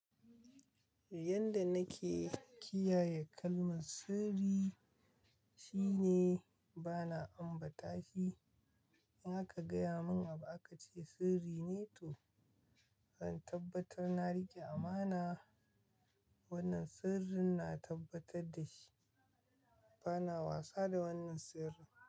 Yanda nake kiyaye kalmar sirri shine bana ambata shi. In aka gaya mun abu aka ce sirri ne to zan tabbatar na rike amana. Wannan sirrin na tabbatar da shi, bana wasa da wannan sirrin.